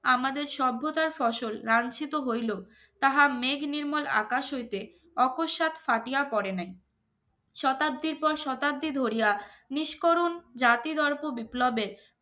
আমাদের সভ্যতার ফসল লাঞ্চিত হইলো তাহা মেঘ নির্মল আকাশ হইতে অপসাত ফাটিয়া পরে নাই শতাব্দীর পর শতাব্দী ধরিয়া নিস্করুণ জাতিদ্ররপ বিপ্লবের